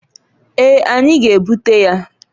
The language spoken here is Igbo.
Eeǃ Anyi g'ebute ya.